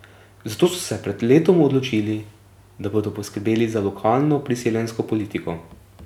Zato so se pred letom odločili, da bodo poskrbeli za lokalno priseljensko politiko.